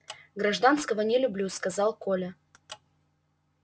гражданского не люблю сказал коля